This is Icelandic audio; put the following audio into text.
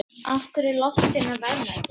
Af hverju eru loftsteinar verðmætir?